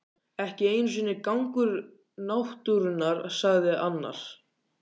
Ekki einu sinni gangur náttúrunnar sagði annar.